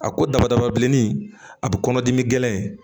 A ko dama dama bilenin a bi kɔnɔdimi gɛlɛn in